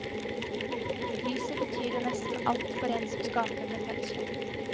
Lyset betyr jo nesten alt for en som skaper med penselen.